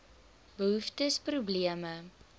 behoeftes probleme